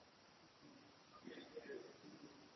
Menningarveisla í Garði